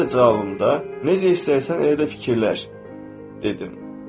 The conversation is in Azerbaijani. Mən də cavabımda necə istərsən elə də fikirləş dedim.